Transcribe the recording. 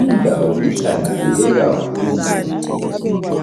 Indawo ihlanzeke kakhulu.